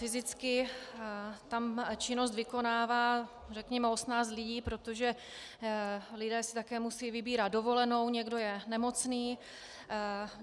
Fyzicky tam činnost vykonává řekněme 18 lidí, protože lidé si také musejí vybírat dovolenou, někdo je nemocný.